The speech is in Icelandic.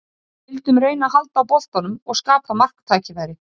Niðurstaðan varð því sú að frumspekin væri merkingarlaus.